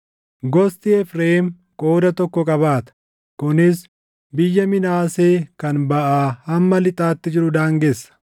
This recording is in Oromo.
Gosti Efreem qooda tokko qabaata; kunis biyya Minaasee kan baʼaa hamma lixaatti jiru daangessa.